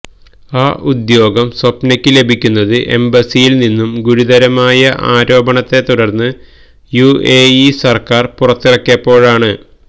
ആ ഉദ്യോഗം സ്വപ്നയ്ക്ക് ലഭിക്കുന്നത് എംബസ്സിയിൽ നിന്നും ഗുരുതരമായ ആരോപണത്തെ തുടർന്ന് യുഎഇ സർക്കാർ പുറത്താക്കിയപ്പോഴാണ്